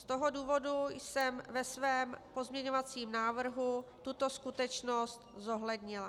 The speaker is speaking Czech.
Z toho důvodu jsem ve svém pozměňovacím návrhu tuto skutečnost zohlednila.